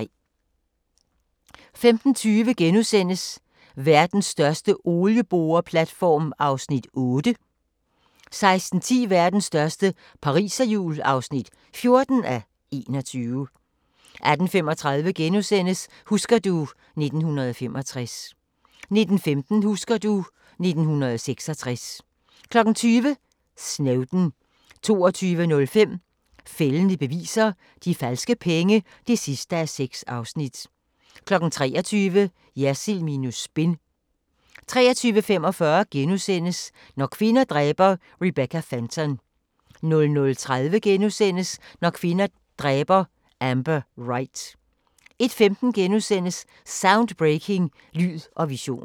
15:20: Verdens største olieboreplatform (8:21)* 16:10: Verdens største pariserhjul (14:21) 18:35: Husker du ... 1965 * 19:15: Husker du ... 1966 20:00: Snowden 22:05: Fældende beviser – De falske penge (6:6) 23:00: Jersild minus spin 23:45: Når kvinder dræber - Rebecca Fenton * 00:30: Når kvinder dræber – Amber Wright * 01:15: Soundbreaking – Lyd og visioner *